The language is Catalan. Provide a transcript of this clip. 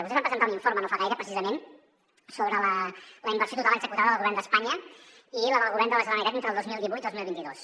vostès van presentar un informe no fa gaire precisament sobre la inversió total executada del govern d’espanya i la del govern de la generalitat entre el dos mil divuit i el dos mil vint dos